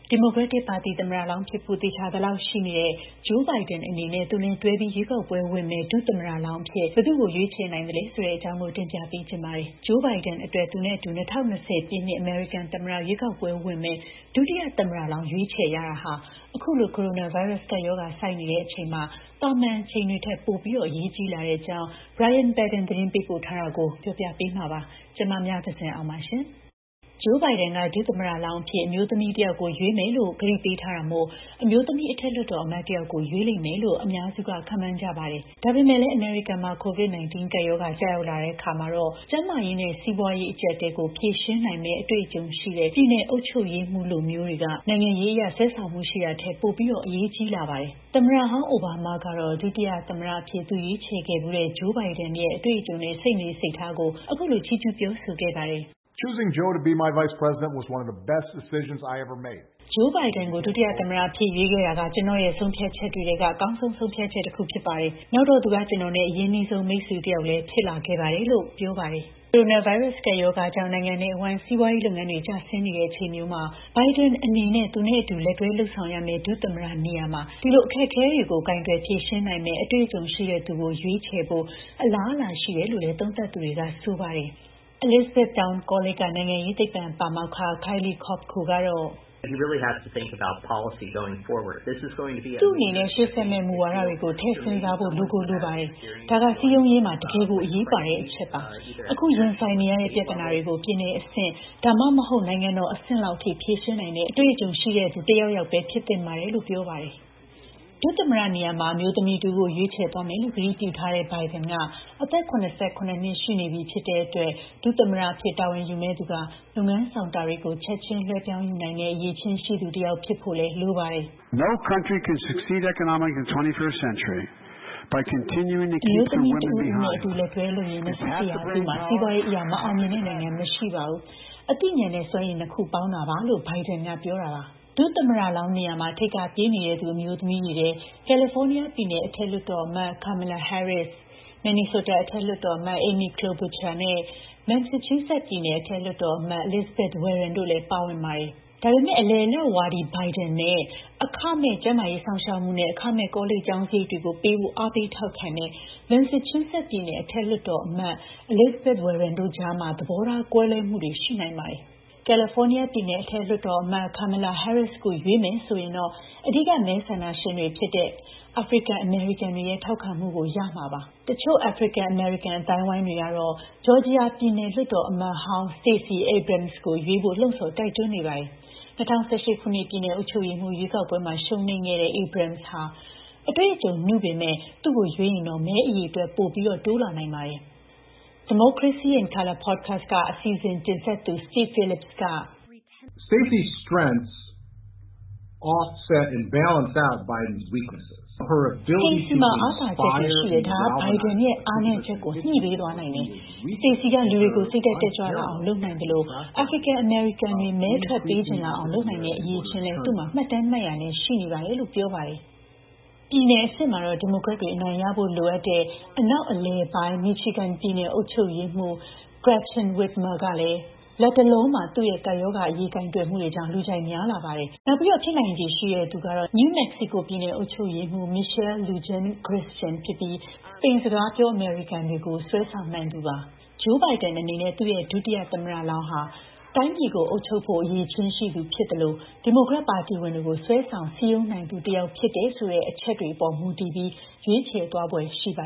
ဒီမိုကရက်တစ်ပါတီ သမ္မတလောင်းဖြစ်ဖို့ သေချာသလောက်ရှိနေသူ Joe Biden အတွက် သူနဲ့အတူ ၂၀၂၀ ပြည့်နှစ် အမေရိကန် သမ္မတရွေးကောက်ပွဲဝင်မယ့် ဒုတိယသမ္မတလောင်း ရွေးချယ်ရတာဟာ အခုလို ကိုရိုနာဗိုင်းရပ်စ် ကပ်ရောဂါ ဆိုက်နေချိန်မှာ သာမန်အချိန်တွေထက် ပိုပြီး အရေးကြီးလာပါတယ်။ ဒီအကြောင်းနဲ့ပတ်သက်လို့ ဗွီအိုအေသတင်းထောက် Brian Paddan သတင်းပေးပို့ထားတာကို မမြသဇင်အောင်က တင်ပြပေးထားပါတယ်။ Joe Biden က သမ္မတလောင်းအဖြစ် အမျိုးသမီးတယောက်ကို ရွေးမယ်လို့ ကတိပေးထားတာမို့ အမျိုးသမီး အထက်လွှတ်တော်အမတ် တယောက်ကို ရွေးလိမ့်မယ်လို့ အများက ခန့်မှန်းနေကြပါတယ်။ အမေရိကန်နိုင်ငံအတွင်း COVID-19 ကပ်ရောဂါ ကျရောက်နေတာကြောင့် ကျန်းမာရေးနဲ့ စီးပွားရေး အကျပ်အတည်းကို ဖြေရှင်းနိုင်မယ့် အတွေ့အကြုံရှိတဲ့ ပြည်နယ်အုပ်ချုပ်ရေးမှူးလိုမျိုးတွေက နိုင်ငံရေးအရ ဆွဲဆောင်မှုရှိတာထက် ပိုပြီး အရေးကြီးလာနေတာပါ။ သမ္မတဟောင်း အိုဘားမားကတော့ ဒုတိယသမ္မတအဖြစ် သူရွေးချယ်ခဲ့ဖူးတဲ့ Joe Biden ရဲ့ အတွေ့အကြုံနဲ့ စိတ်နေစိတ်ထားကို အခုလို ချီးကျူးပြောဆိုပါတယ်။ “Joe Biden ကို ဒုတိယသမ္မတအဖြစ် ရွေးခဲ့တာက ကျနော့်ရဲ့ ဆုံးဖြတ်ချက်တွေထဲ အကောင်းဆုံး ဆုံးဖြတ်ချက်တခု ဖြစ်ပါတယ်။ နောက်တော့ သူက ကျနော်နဲ့ အရင်းနှီးဆုံး မိတ်ဆွေတယောက်လည်း ဖြစ်လာခဲ့ပါတယ်။” ကိုရိုနာဗိုင်းရပ်စ် ကပ်ရောဂါကြောင့် နိုင်ငံနဲ့အဝှမ်း စီးပွားရေးလုပ်ငန်းတွေ ကျဆင်းလာတဲ့ အချိန်မျိုးမှာ Biden အနေနဲ့ သူနဲ့ အတူလက်တွဲ လုပ်ဆောင်ရမယ့် ဒုသမ္မတနေရာမှာ ဒီလို အခက်အခဲတွေကို ကိုင်တွယ်ဖြေရှင်းနိုင်မယ့် အတွေ့အကြုံရှိတဲ့သူကို ရွေးချယ်ဖို့ အလားအလာရှိတယ်လို့ သုံးသပ်သူတွေက ဆိုပါတယ်။ Elizabethtown ကောလိပ်က နိုင်ငံရေးသိပ္ပံပါမောက္ခ Kyle Kopko ကတော့... “သူ့အနေနဲ့ ရှေ့ဆက်မယ့် မူဝါဒတွေကို ထည့်စဉ်းစားဖို့ လိုကိုလိုပါတယ်။ ဒါက စည်းရုံးရေးမှာ တကယ်ကို အရေးပါတဲ့အချက်ပါ။ အခု ရင်ဆိုင်နေရတဲ့ ပြဿနာတွေကို ပြည်နယ်အဆင့် ဒါမှမဟုတ် နိုင်ငံတော်အဆင့်လောက်ထိ ဖြေရှင်းနိုင်တဲ့ အတွေ့အကြုံရှိတဲ့ သူတယောက်ယောက်ပဲ ဖြစ်သင့်ပါတယ်။” လို့ ပြောပါတယ်။ ဒုသမ္မတနေရာမှာ အမျိုးသမီးတဦးကို ရွေးချယ်သွားမယ်လို့ ကတိပြုထားတဲ့ Biden က အသက် ၇၇ နှစ်ရှိနေပြီဖြစ်တဲ့အတွက် ဒုသမ္မတအဖြစ် တာဝန်ယူမယ့်သူက လုပ်ငန်းဆောင်တာတွေကို ချက်ချင်း လွှဲပြောင်းယူနိုင်တဲ့ အရည်အချင်းရှိသူတယောက် ဖြစ်ဖို့လည်း လိုပါတယ်။ “အမျိုးသမီးတဦးဦးနဲ့ အတူလက်တွဲလုပ်ရင် ၂၁ ရာစုမှာ စီးပွားရေးအရ မအောင်မြင်တဲ့နိုင်ငံ မရှိပါဘူး။ အသိဉာဏ်နဲ့ စွမ်းရည် ၂ ခုပေါင်းတာပါ။” လို့ သူက ပြောထားတာပါ။ ဒုသမ္မတလောင်းနေရာမှာ ထိပ်ကပြေးနေသူ အမျိုးသမီးတွေထဲ ကယ်လီဖိုးနီးယားပြည်နယ် အထက်လွှတ်တော်အမတ် Kamala Harris၊ မင်နီဆိုတာ အထက်လွှတ်တော်အမတ် Amy Klobuchar နဲ့ မက်ဆာချူးဆက်ပြည်နယ် အထက်လွှတ်တော်အမတ် Elizabeth Warren တို့ ပါဝင်ပါတယ်။ ဒါပေမယ့် အလယ်အလတ်ဝါဒီ Biden နဲ့ အခမဲ့ ကျန်းမာရေးစောင့်ရှောက်မှုနဲ့ အခမဲ့ ကောလိပ်ကျောင်းစရိတ်ပေးဖို့ အားပေးထောက်ခံသူ မက်ဆာချူးဆက်ပြည်နယ် အထက်လွှတ်တော်အမတ် Elizabeth Warren ကြား သဘောထား ကွဲလွဲမှုတွေ ရှိနိုင်ပါတယ်။ ကယ်လီဖိုးနီးယားပြည်နယ် အထက်လွှတ်တော်အမတ် Kamala Harris ကို ရွေးချယ်မယ်ဆိုရင်တော့ အဓိကမဲဆန္ဒရှင်တွေဖြစ်တဲ့ အာဖရိကန်နွယ်ဖွား အမေရိကန်တွေရဲ့ ထောက်ခံမှုကို ရမှာပါ။ တချို့ အာဖရိကန် အမေရိကန် အသိုင်းအဝန်းတွေကတော့ ဂျော်ဂျီယာပြည်နယ် လွှတ်တော်အမတ်ဟောင်း Stacy Abrams ကို ရွေးဖို့ လှုံ့ဆော် တိုက်တွန်းနေပါတယ်။ ၂၀၁၈ ခုနှစ် ပြည်နယ်အုပ်ချုပ်ရေးမှူး ရွေးကောက်ပွဲမှာ ရှုံးနိမ့်ခဲ့တဲ့ Abrams ဟာ အတွေ့အကြုံနုပေမယ့် သူ့ကိုရွေးချယ်ရင်တော့ မဲအရေအတွက် ပိုတိုးလာနိုင်ပါတယ်။ Democracy in Color Podcast က အစီအစဉ်တင်ဆက်သူ Steve Phillips က... “Stacey မှာ အားသာချက်တွေရှိတယ်။ ဒါတွေက Biden ရဲ့ အားနည်းချက်တွေကို ညှိပေးသွားနိုင်တယ်။ Stacy က လူတွေကို စိတ်ဓာတ် တက်ကြွလာအောင် လုပ်နိုင်သလို အာဖရိကန် အမေရိကန်တွေ မဲထွက်ပေးချင်အောင် လုပ်နိုင်တဲ့ အရည်အချင်းလည်း သူ့မှာ မှတ်တမ်းမှတ်ရာနဲ့ ရှိနေတာပါ။” လို့ပြောပါတယ်။ ပြည်နယ်အဆင့်မှာတော့ ဒီမိုကရက်တွေ အနိုင်ရဖို့ လိုအပ်တဲ့ အနောက်အလယ်ပိုင်း မီချီဂန်ပြည်နယ် အုပ်ချုပ်ရေးမှူး Gretchen Whitmer ကလည်း လတ်တလောမှာ သူ့ရဲ့ ကပ်ရောဂါအရေး ကိုင်တွယ်မှုတွေကြောင့် လူကြိုက်များလာပါတယ်။ နောက် ဖြစ်နိုင်ချေရှိတဲ့သူကတော့ New Mexico ပြည်နယ် အုပ်ချုပ်ရေးမှူး Michelle Lujan Grisham ဖြစ်ပြီး စပိန်စကားပြော အမေရိကန်တွေကို ဆွဲဆောင်နိုင်သူပါ။ Joe Biden အနေနဲ့ သူ့ရဲ့ ဒုတိယသမ္မတလောင်းဟာ တိုင်းပြည်ကို အုပ်ချုပ်ဖို့ အရည်အသွေးရှိသူ ဖြစ်သလို ဒီမိုကရက်ပါတီဝင်တွေကို ဆွဲဆောင်စည်းရုံးနိုင်သူ တယောက် ဖြစ်တယ်ဆိုတဲ့ အချက်အပေါ် မူတည်ပြီး ရွေးချယ်သွားဖွယ် ရှိပါ